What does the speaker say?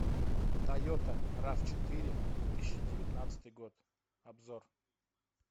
тойота рав четыре две тысячи девятнадцатый год обзор